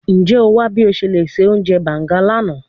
Njẹ o wa bi o ṣe le ṣe ounjẹ banga lana?